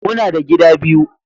Muna da gida biyu